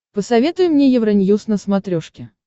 посоветуй мне евроньюз на смотрешке